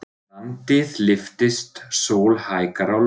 Landið lyftist, sól hækkar á lofti.